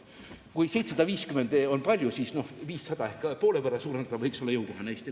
Kui 750 on palju, siis 500 ehk poole võrra suurendamine võiks olla Eesti riigile jõukohane.